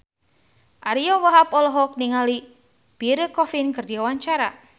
Ariyo Wahab olohok ningali Pierre Coffin keur diwawancara